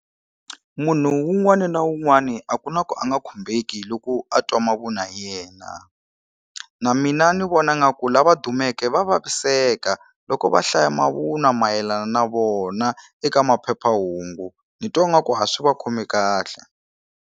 Munhu wun'wani na wun'wani a ku na ku a nga khumbeki loko a twa mavunwa hi yena na mina ni vona nga ku lava dumeke va vaviseka loko va hlaya mavunwa mayelana na vona eka maphephahungu ni twa nga ku ha swi va khomi kahle.